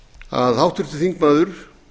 að háttvirtur þingmaður